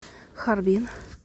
харбин